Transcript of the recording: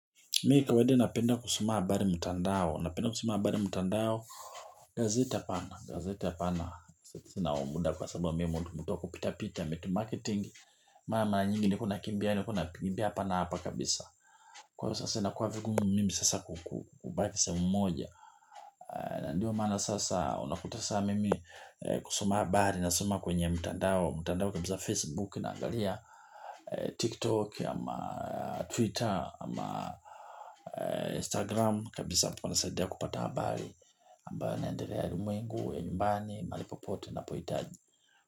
Mi kawaida napenda kusoma habari mtandao, napenda kusoma habari mtandao. Gazeti hapana, gazete hapana. Sina huo muda kwa sababu mimi mtu wa kupita-pita, marketing. Maana mara nyingi ni kuna kimbia ni kuna kimbia pana hapa kabisa. Kwa sasa inakuwa vigumu mimi sasa kubaki sehemu moja. Ndiyo maana sasa unakuta sasa mimi kusoma habari nasoma kwenye mtandao. Mtandao kama za Facebook naagalia tiktok ama twitter ama instagram kabisa panasadia kupata habari ambayo inaendelea ulimwengu nyumbani mahali popote napohitaji.